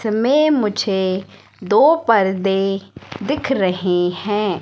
इसमें मुझे दो पर्दे दिख रहे हैं।